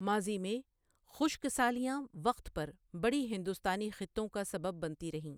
ماضی میں، خشک سالیاں وقت پر بڑی ہندوستانی خطوں کا سبب بنتی رہیں۔